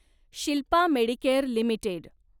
Shilpa Medicare limited